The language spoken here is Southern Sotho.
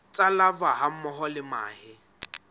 tsa larvae hammoho le mahe